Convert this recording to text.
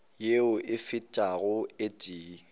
yeo e fetago o tee